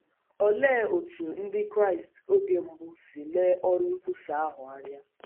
Olee otú Ndị Kraịst oge mbụ si lee ọrụ nkwusa ahụ anya?